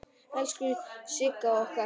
Elsku Sigga okkar!